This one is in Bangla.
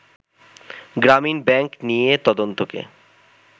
গ্রামীন ব্যাংক নিয়ে তদন্তকে